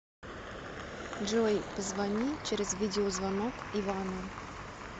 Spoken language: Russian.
джой позвони через видеозвонок ивану